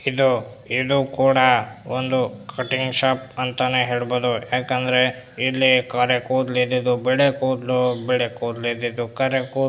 ಇದು ಇದು ಕೂಡ ಒಂದು ಕಟ್ಟಿಂಗ್ ಶಾಪ್ ಅಂತಾನೆ ಹೇಳ್ಬಹುದು ಯಾಕಂದ್ರೆ ಇಲ್ಲಿ ಕರೆ ಕೂದ್ಲು ಇದ್ದಿದ್ದು ಬಿಳಿ ಕೂದ್ಲು ಬಿಳಿ ಕೂದ್ಲು ಇದ್ದಿದ್ದು ಕರೆ ಕೂದ್ಲು--